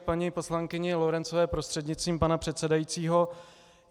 K paní poslankyni Lorencové prostřednictvím pana předsedajícího.